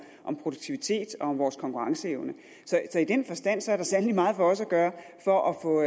om produktivitet og vores konkurrenceevne så i den forstand er der sandelig meget for os at gøre for at få